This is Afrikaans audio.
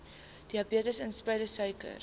diabetes insipidus suiker